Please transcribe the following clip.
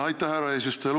Aitäh, härra eesistuja!